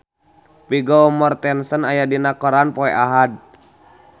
Vigo Mortensen aya dina koran poe Ahad